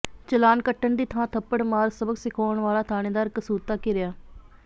ਚਲਾਣ ਕੱਟਣ ਦੀ ਥਾਂ ਥੱਪੜ ਮਾਰ ਸਬਕ ਸਿਖਾਉਣ ਵਾਲਾ ਥਾਣੇਦਾਰ ਕਸੂਤਾ ਘਿਰਿਆ